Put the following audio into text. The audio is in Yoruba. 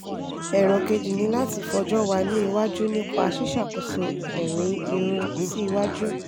ẹ̀rọ kejì ni láti fọ́jọ́ wa ní iwájú nípa ṣíṣàkóso ẹ̀rin irun sí iwájú